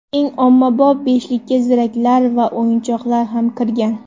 Eng ommabop beshlikka ziraklar va o‘yinchoqlar ham kirgan.